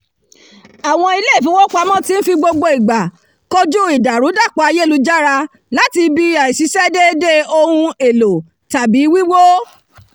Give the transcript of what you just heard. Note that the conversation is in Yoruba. àwọn ilé ìfowópamọ́ ti ń fi gbogbo ìgbà kojú ìdàrúdàpọ̀ ayélujára láti ibi àìṣiṣẹ́ déédé ohun-èlò tàbí wíwó